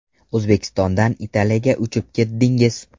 O‘zbekistondan Italiyaga uchib ketdingiz.